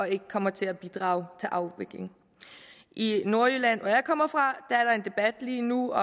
ikke kommer til at bidrage til afvikling i nordjylland hvor jeg kommer fra er der en debat lige nu